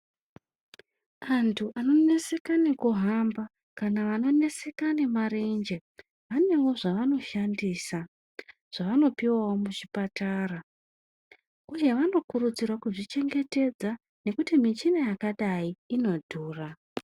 Antu ano neseka neku hamba kana vano neseka ne marenje vanewo zvavano shandisa zvavano piwawo mu chipatara uye vano kurudzirwa kuzvi chengetedza nekuti michina yakadai ino dhura.